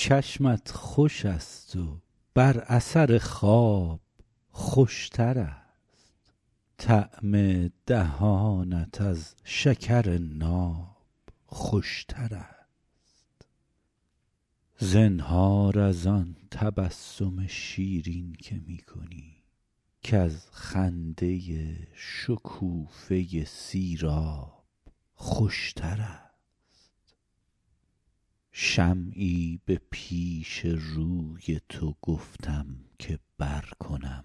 چشمت خوش است و بر اثر خواب خوش تر است طعم دهانت از شکر ناب خوش تر است زنهار از آن تبسم شیرین که می کنی کز خنده شکوفه سیراب خوش تر است شمعی به پیش روی تو گفتم که برکنم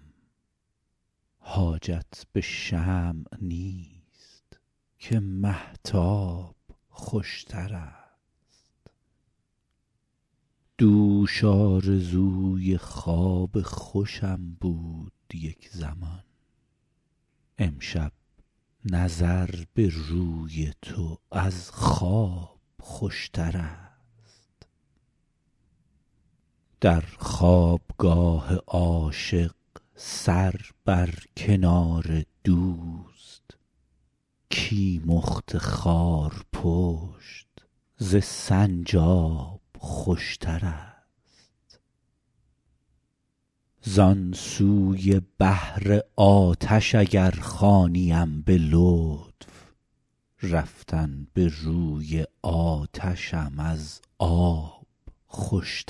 حاجت به شمع نیست که مهتاب خوش تر است دوش آرزوی خواب خوشم بود یک زمان امشب نظر به روی تو از خواب خوش تر است در خواب گاه عاشق سر بر کنار دوست کیمخت خارپشت ز سنجاب خوش تر است زان سوی بحر آتش اگر خوانیم به لطف رفتن به روی آتشم از آب خوش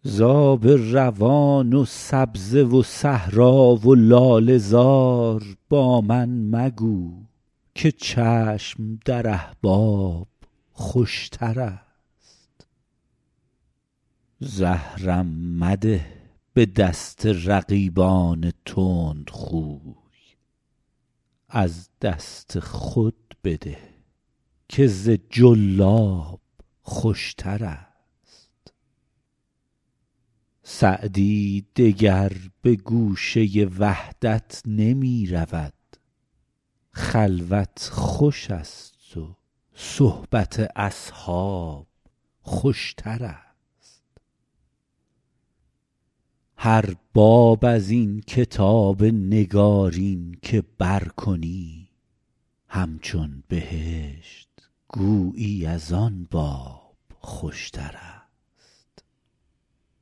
تر است ز آب روان و سبزه و صحرا و لاله زار با من مگو که چشم در احباب خوش تر است زهرم مده به دست رقیبان تندخوی از دست خود بده که ز جلاب خوش تر است سعدی دگر به گوشه وحدت نمی رود خلوت خوش است و صحبت اصحاب خوش تر است هر باب از این کتاب نگارین که برکنی همچون بهشت گویی از آن باب خوشترست